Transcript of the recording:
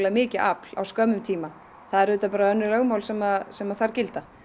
mikið afl á skömmum tíma það eru önnur lögmál sem sem þar gilda